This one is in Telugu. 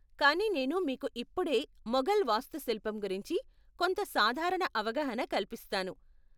కానీ నేను మీకు ఇప్పుడే ముఘల్ వాస్తుశిల్పం గురించి కొంత సాధారణ అవగాహన కల్పిస్తాను.